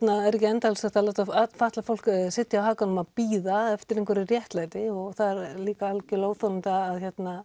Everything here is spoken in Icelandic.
er ekki endalaust hægt að láta fatlað fólk sitja á hakanum og bíða eftir einhverju réttlæti og það er líka óþolandi að